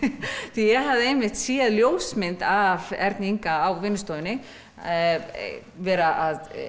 því ég hafði einmitt séð ljósmynd af Erni Inga að vera að